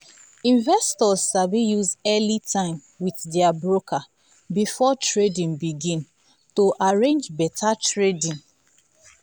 investors sabi use early time with their broker before trading begin to arrange better trading.